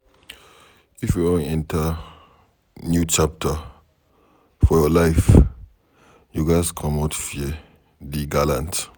If you wan enter new chapter for your life, you ghas comot fear dey gallant